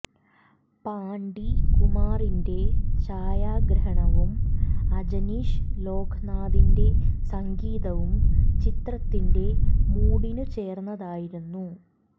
പാണ്ടി കുമാറിന്റെ ഛായാഗ്രഹണവും അജനീഷ് ലോക്നാഥിന്റെ സംഗീതവും ചിത്രത്തിന്റെ മൂഡിനു ചേർന്നതായിരുന്നു